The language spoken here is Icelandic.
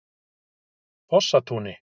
Fossatúni